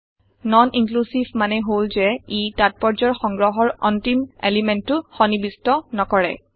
non inclusive মানে হল যে ই তাত্পৰ্যৰ সংগ্ৰহৰ অন্তিম এলিমেন্টো অংশটো সন্নিবিষ্ট নকৰে